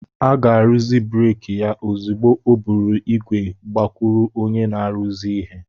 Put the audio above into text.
A ga-arụzi breeki ya ozugbo o buru ígwè gakwuru onye na-arụzi ihe